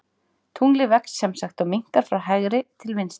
Tunglið vex sem sagt og minnkar frá hægri til vinstri.